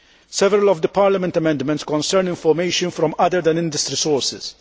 Several of Parliament's amendments concern information from sources other than industry sources.